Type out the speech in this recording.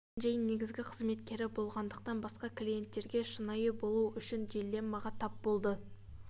джон мен джейн негізгі қызметкері болғандықтан басқа клиенттеріне шынайы болу үшін дилеммаға тап болды